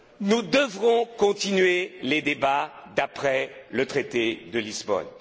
une chose. Nous devrons continuer les débats après le traité